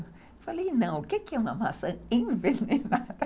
Eu falei, não, o que é uma maçã envenenada?